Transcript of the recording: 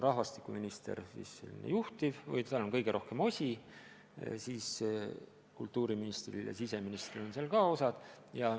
Rahvastikuminister on juhtiv või tal on selles töös kõige rohkem osi ning kultuuriministril ja siseministril on ka omad osad.